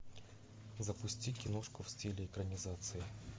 запусти киношку в стиле экранизация